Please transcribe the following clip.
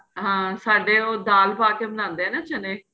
ਹਾਂ ਸਾਡੇ ਉਹ ਦਾਂਲ ਪਾਕੇ ਬਣਾਦੇ ਏ ਚੰਨੇ